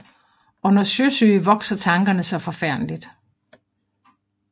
Under Sjøsyge vokser Tankerne saa forfærdelig